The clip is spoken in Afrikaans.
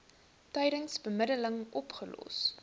tydens bemiddeling opgelos